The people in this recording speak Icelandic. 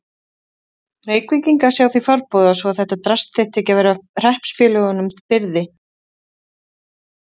Reykvíkinga sjá því farborða svo að þetta drasl þyrfti ekki að vera hreppsfélögunum til byrði?